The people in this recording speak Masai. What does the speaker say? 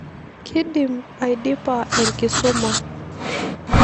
Kedim aidipa enkisuma.